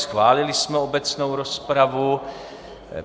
Schválili jsme obecnou rozpravu.